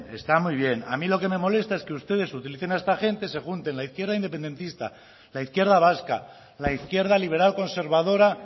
está muy bien a mí lo que me molesta es que ustedes utilicen a esta gente se junten la izquierda independentista la izquierda vasca la izquierda liberal conservadora